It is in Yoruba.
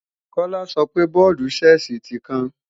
Kọ́lá sọpe bọ́ọ̀dù-Ṣẹ́ẹ̀sì tí kán